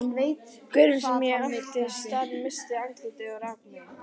Gaurinn sem átti staðinn missti andlitið og rak mig.